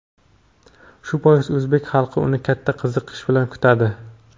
Shu bois o‘zbek xalqi uni katta qiziqish bilan kutadi.